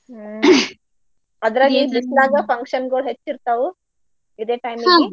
ಹ್ಮ್ ಅದ್ರ ಈ ಬಿಸ್ಲಾಗ function ಗುಳ್ ಹೆಚ್ಚಿರ್ತಾವು. ಇದೇ time ನಾಲ್ಲಿ .